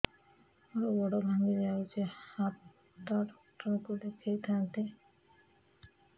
ମୋର ଗୋଡ ଭାଙ୍ଗି ଯାଇଛି ହାଡ ଡକ୍ଟର ଙ୍କୁ ଦେଖେଇ ଥାନ୍ତି